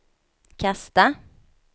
kasta